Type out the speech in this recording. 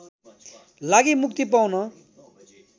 लागि मुक्ति पाउन